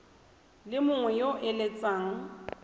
le mongwe yo o eletsang